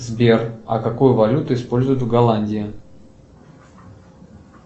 сбер а какую валюту используют в голландии